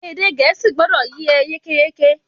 Èdè Gẹ̀ẹ́sì gbọdọ̀ e yín yékéyéké!